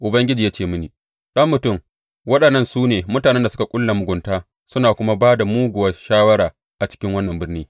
Ubangiji ya ce mini, Ɗan mutum, waɗannan su ne mutanen da suke ƙulla mugunta suna kuma ba da muguwa shawara a cikin wannan birni.